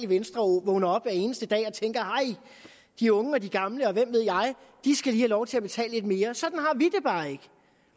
venstre vågner op hver eneste dag og tænker at de unge og de gamle og hvem ved jeg lige skal have lov til at betale lidt mere sådan har vi det bare ikke